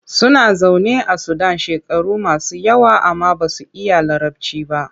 Suna zaune a Sudan shekaru masu yawa amma ba su iya Larabci ba.